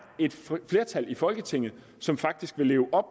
et flertal i folketinget som faktisk vil leve